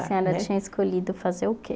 A senhora tinha escolhido fazer o quê?